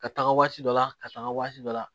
Ka taaga waati dɔ la ka taa waati dɔ la